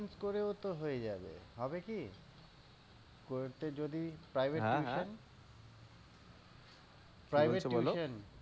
করে ও তো হয়ে যাবে। হবে কি? করতে যদি private tuition private tuition